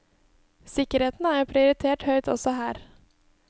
Sikkerheten er prioritert høyt også her.